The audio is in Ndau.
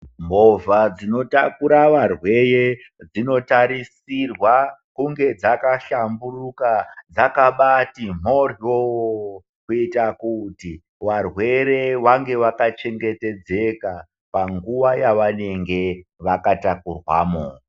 Movha dzinotakura varwere dzinotarisirwa kunge dzakahlamburuka, dzakabati mhoryoooo, kuyita kuti varwere vange vakachengetedzeka panguwa yavanenge vakatakurwamo.